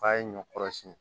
K'a ye ɲɔ kɔrɔ siɲɛ